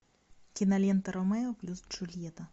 кинолента ромео плюс джульетта